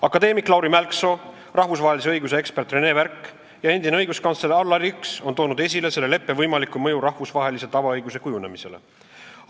Akadeemik Lauri Mälksoo, rahvusvahelise õiguse ekspert René Värk ja endine õiguskantsler Allar Jõks on toonud esile selle leppe võimaliku mõju rahvusvahelise tavaõiguse kujunemisele.